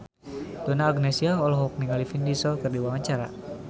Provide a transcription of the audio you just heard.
Donna Agnesia olohok ningali Vin Diesel keur diwawancara